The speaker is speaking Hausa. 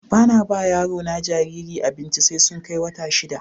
Ba na ba ma yaro jariri na abinci sai sun kai wata shida.